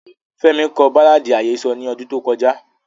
Femi ko baláàdi ahesọ ni ọdun to kọja.